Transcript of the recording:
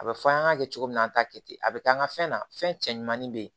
A bɛ fɔ an k'a kɛ cogo min na an t'a kɛ ten a bɛ k'an ka fɛn na fɛn cɛ ɲumanin bɛ yen